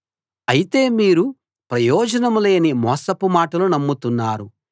అయితే మీరు ప్రయోజనం లేని మోసపు మాటలు నమ్ముతున్నారు